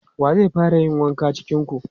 Wa zai fara yin wanka cikin ku?